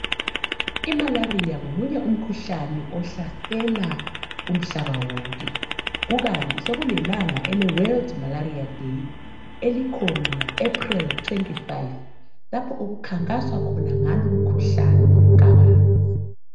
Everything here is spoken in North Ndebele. Imalaria ngomunye umkhuhlane ohlasela umhlaba wonke. Kukanti sekulelanga, eleWorld malaria day. Elikhona ngoApril 25. Lapha okukhankaswa khona ngalo umkhuhlane kabanzi.